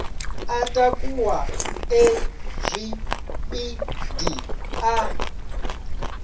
a takuwa e zwipidi a